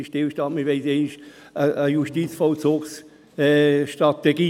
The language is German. Jetzt ist Stillstand, wir wollen dann einmal eine Justizvollzugsstrategie.